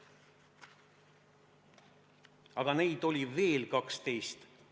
Aga neid oli veel 12.